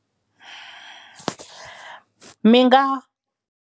Mi nga.